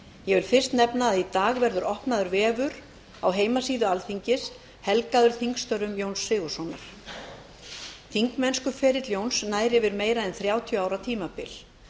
ég vil fyrst nefna að í dag verður opnaður vefur á heimasíðu alþingis helgaður þingstörfum jóns sigurðssonar þingmennskuferill jóns nær yfir meira en þrjátíu ára tímabil